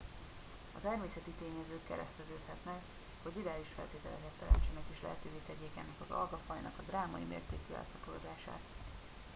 a természeti tényezők kereszteződhetnek hogy ideális feltételeket teremtsenek és lehetővé tegyék ennek az algafajnak a drámai mértékű elszaporodását